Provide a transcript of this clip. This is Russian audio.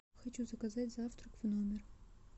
хочу заказать завтрак в номер